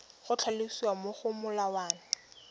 go tlhalosiwa mo go molawana